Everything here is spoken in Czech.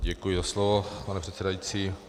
Děkuji za slovo, pane předsedající.